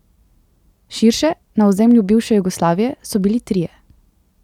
Širše, na ozemlju bivše Jugoslavije, so bili trije.